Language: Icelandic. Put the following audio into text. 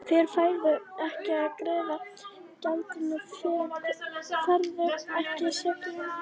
Fyrr færðu ekki að greiða gjaldið, fyrr færðu ekki seglin.